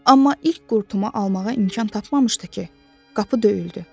Amma ilk qurtumu almağa imkan tapmamışdı ki, qapı döyüldü.